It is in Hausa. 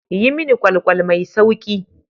Yi mini ƙwal-ƙwal mai sauƙi.